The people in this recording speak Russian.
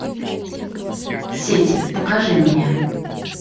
сеть покажи мне